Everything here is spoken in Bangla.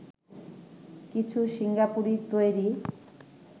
কিছু সিঙ্গাপুরে তৈরি